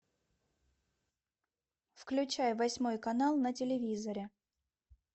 включай восьмой канал на телевизоре